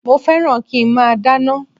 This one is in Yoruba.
Mo fẹ́ràn kí nmá dáná